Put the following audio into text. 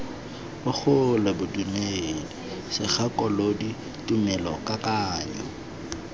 bogole bodumedi segakolodi tumelo kakanyo